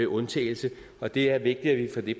undtagelse og det er vigtigt at vi